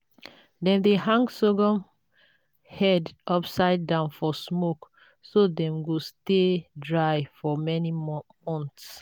dem dey hang sorghum heads upside down for smoke so dem go stay dry for many